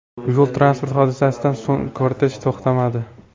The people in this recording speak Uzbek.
Yo‘l-transport hodisasidan so‘ng kortej to‘xtamadi.